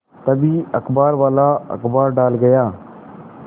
तभी अखबारवाला अखबार डाल गया